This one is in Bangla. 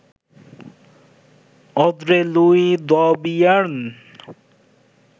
অঁদ্রে-লুই দ্যবিয়ের্ন